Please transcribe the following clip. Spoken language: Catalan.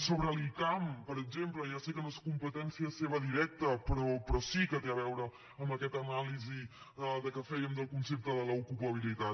sobre l’icam per exemple ja sé que no és competència seva directa però sí que té a veure amb aquesta anàlisi que fèiem del concepte de l’ ocupabilitat